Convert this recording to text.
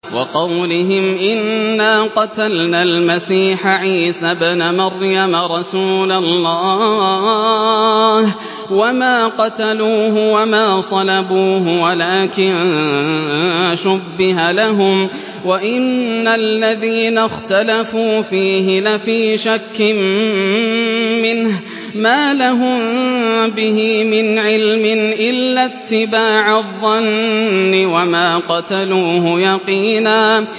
وَقَوْلِهِمْ إِنَّا قَتَلْنَا الْمَسِيحَ عِيسَى ابْنَ مَرْيَمَ رَسُولَ اللَّهِ وَمَا قَتَلُوهُ وَمَا صَلَبُوهُ وَلَٰكِن شُبِّهَ لَهُمْ ۚ وَإِنَّ الَّذِينَ اخْتَلَفُوا فِيهِ لَفِي شَكٍّ مِّنْهُ ۚ مَا لَهُم بِهِ مِنْ عِلْمٍ إِلَّا اتِّبَاعَ الظَّنِّ ۚ وَمَا قَتَلُوهُ يَقِينًا